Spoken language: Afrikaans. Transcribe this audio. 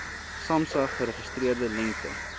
samsa geregistreerde lengte